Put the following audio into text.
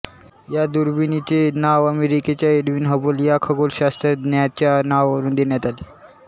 या दुर्बिणीचे नाव अमेरिकेच्या एडविन हबल या खगोलशास्त्रज्ञाच्या नावावरून देण्यात आले